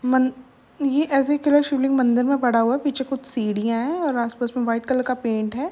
मन ये ऐसे ही शिवलिंग मंदिर में पड़ा हुआ है। पीछे कुछ सीढ़ियां हैं और आसपास में व्हाइट कलर का पेंट है।